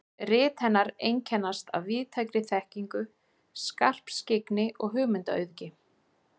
Rit hennar einkennast af víðtækri þekkingu, skarpskyggni og hugmyndaauðgi.